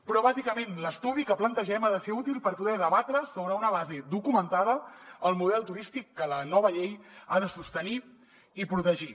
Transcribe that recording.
però bàsicament l’estudi que plantegem ha de ser útil per poder debatre sobre una base documentada el model turístic que la nova llei ha de sostenir i protegir